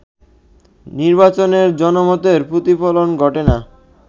নির্বাচনে জনমতের প্রতিফলন ঘটে না